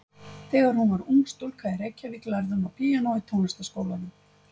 Þegar hún var ung stúlka í Reykjavík lærði hún á píanó í Tónlistarskólanum.